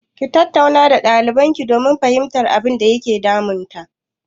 Ki tattauna da ɗalibarki domin fahimtar abinda ke damun ta!